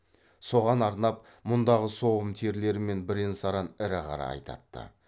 соған арнап мұндағы соғым терілері мен бірен саран ірі қара айдатты